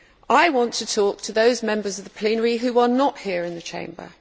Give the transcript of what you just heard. I want to talk to those Members of the plenary who are not here in the Chamber.